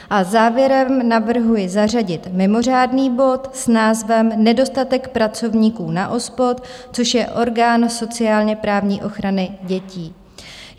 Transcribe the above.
A závěrem navrhuji zařadit mimořádný bod s názvem Nedostatek pracovníků na OSPOD, což je Orgán sociálně-právní ochrany dětí.